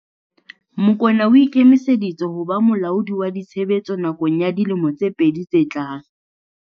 Mokoena o ikemiseditse ho ba molaodi wa ditshebetso nakong ya dilemo tse pedi tse tlang.